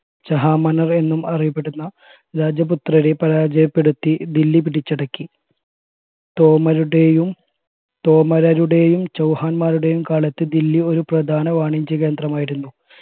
ചഹാമനർ എന്നും അറിയപ്പെടുന്ന രാജപുത്രരെ പരിചയപെടുത്തി ദില്ലി പിടിച്ചടക്കി തോമരുടെയും തോമരരുടെയും ചൗഹാൻമാരുടെയും കാലത്ത് ദില്ലി ഒരു പ്രധാന വാണിജ്യ കേന്ദ്രമായിരുന്നു